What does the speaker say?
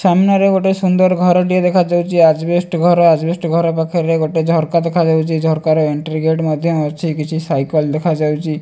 ସାମ୍ନାରେ ଗୋଟେ ସୁନ୍ଦର ଘରଟିଏ ଦେଖା ଯାଉଚି। ଆଜବେଷ୍ଟ ଘର ଆଜବେଷ୍ଟ ଘର ପାଖରେ ଗୋଟେ ଝରକା ଦେଖା ଯାଉଚି। ଝରକା ରେ ଏଣ୍ଟ୍ରି ଗେଟ ମଧ୍ୟ ଅଛି କିଛି ସାଇକେଲ ଦେଖାଯାଉଛି।